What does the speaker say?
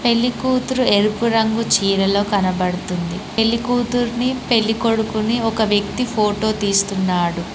పెళ్లి కూతురు ఎరుపు రంగు చీరలో కనబడుతుంది పెళ్లికూతుర్ని పెళ్ళికొడుకుని ఒక వ్యక్తి ఫోటో తీస్తున్నాడు.